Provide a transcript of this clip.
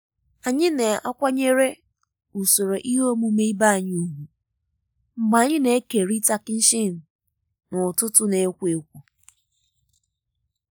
anyị na-akwanyere na-akwanyere usoro ihe omume ibe anyị ùgwù mgbe anyị na-ekerịta kichin n'ụtụtụ na-ekwo ekwo.